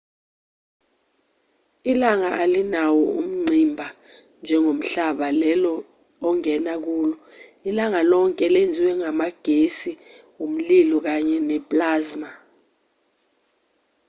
ilanga alinawo ungqimba njengomhlaba lelo ongema kulo ilanga lonke lenziwe ngamagesi umlilo kanye ne-plasma